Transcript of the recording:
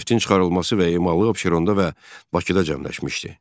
Neftin çıxarılması və emalı Abşeronda və Bakıda cəmləşmişdi.